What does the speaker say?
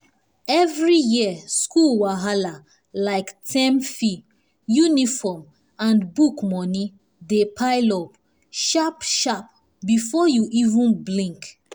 every year school wahala—like term fee uniform and book money—dey pile up sharp-sharp before you even blink.